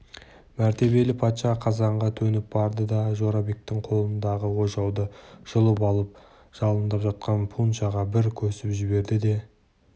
мәртебелі патша қазанға төніп барды да жорабектің қолындағы ожауды жұлып алып жалындап жатқан пуншаға бір көсіп жіберді де